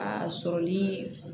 A sɔrɔli